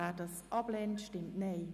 wer sie abschreiben will, stimmt Nein.